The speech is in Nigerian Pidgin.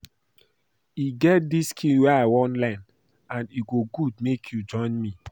E get dis skill wey I wan learn and e go good make you join me